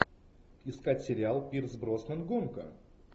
искать сериал пирс броснан гонка